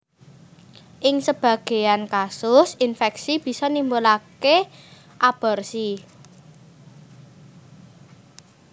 Ing sebagéyan kasus infèksi bisa nimbulaké aborsi